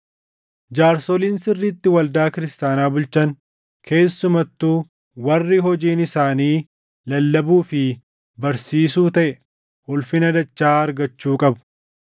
Jaarsoliin sirriitti waldaa kiristaanaa bulchan keessumattuu warri hojiin isaanii lallabuu fi barsiisuu taʼe ulfina dachaa argachuu qabu.